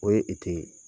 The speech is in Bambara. O ye